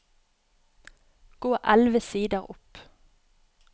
Gå elleve sider opp